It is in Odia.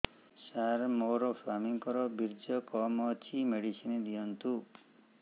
ସାର ମୋର ସ୍ୱାମୀଙ୍କର ବୀର୍ଯ୍ୟ କମ ଅଛି ମେଡିସିନ ଦିଅନ୍ତୁ